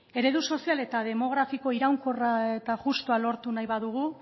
eredu sozial eta demografiko iraunkorra eta justua lortu nahi badugu